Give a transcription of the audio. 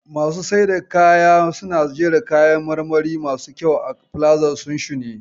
Masu siyar da kaya suna jera kayan marmari masu kyau a filazar sunshine.